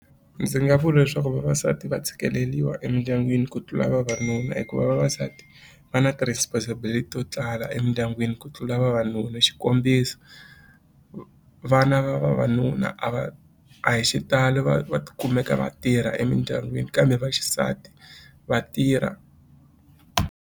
Ndzi nga vula leswaku vavasati va tshikeleriwa emindyangwini ku tlula vavanuna hikuva vavasati va na ti-responsibility to tala emindyangwini ku tlula vavanuna xikombiso vana va vavanuna a va a hi xitalo va va kumeka va tirha emindyangwini kambe vaxisati va tirha.